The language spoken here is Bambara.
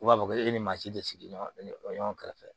U b'a fɔ ko e ni maa si tɛ sigiɲɔgɔn kɛrɛfɛ